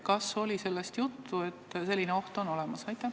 Kas oli sellest juttu, et selline oht on olemas?